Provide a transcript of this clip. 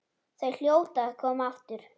Þau hljóta að koma aftur.